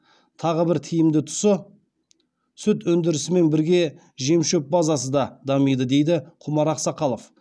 тағы бір тиімді тұсы сүт өндірісімен бірге жемшөп базасы да дамиды дейді құмар ақсақалов